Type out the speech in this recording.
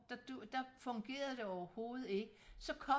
der fungerede det overhovedet ikke så kom